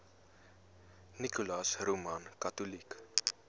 nicholas roman catholic